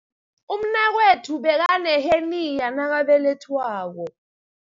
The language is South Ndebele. Umnakwethu bekaneheniya nakabelethwako.